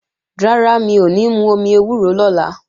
Rárá, mi ò ní mú omi ewúro lọ́la